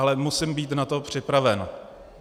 Ale musím být na to připraven.